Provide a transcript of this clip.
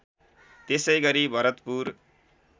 त्यसै गरी भरतपुर